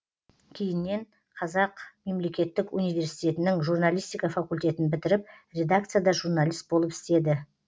кейіннен қазақ мемлекеттік университетінің журналистика факультетін бітіріп редакцияда журналист болып істеді